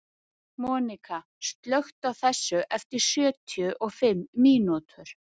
Monika, slökktu á þessu eftir sjötíu og fimm mínútur.